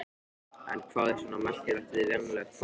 En hvað er svona merkilegt við venjulegt fólk?